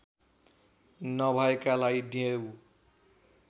नभएकालाई देऊ